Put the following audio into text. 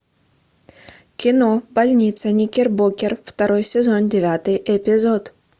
кино больница никербокер второй сезон девятый эпизод